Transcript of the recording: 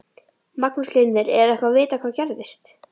Magnús Hlynur: Er eitthvað vitað hvað gerðist?